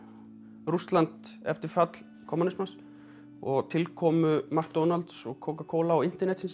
Rússland eftir fall kommúnismans og tilkomu McDonalds og Coca Cola og internetsins